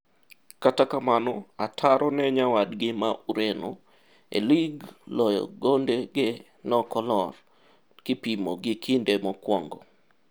Kata kamano, ataro ne nyawadgi ma Ureno, e lig ufungaji wake haukushukloyo gonde ge noko lor kipimo gi kinde mokwongo.